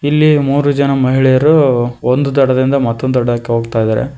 ಇಲ್ಲಿ ಮೂರು ಜನ ಮಹಿಳೆಯರು ಒಂದು ದಡದಿಂದ ಮತ್ತೊಂದು ದಡಕ್ಕೆ ಹೋಗ್ತಾ ಇದ್ದಾರೆ.